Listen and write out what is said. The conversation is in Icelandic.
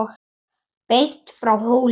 Beint frá Hólum.